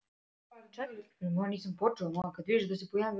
Bryndís var dugleg.